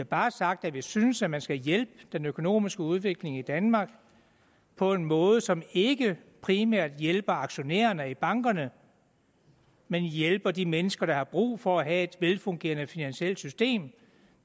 bare sagt at vi synes at man skal hjælpe den økonomiske udvikling i danmark på en måde som ikke primært hjælper aktionærerne i bankerne men hjælper de mennesker der har brug for at have et velfungerende finansielt system